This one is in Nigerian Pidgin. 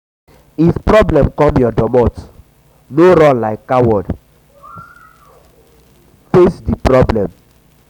if problem come your domot no run like coward face like coward face di problem